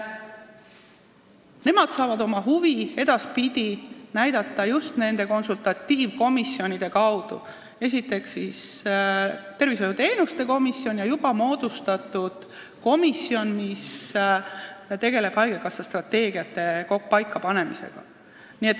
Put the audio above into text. Nad saavad edaspidi oma huvisid näidata konsultatiivkomisjonide kaudu: esiteks tervishoiuteenuste loetelu komisjoni ja teiseks juba moodustatud komisjoni kaudu, mis tegeleb haigekassa strateegiate paikapanemisega.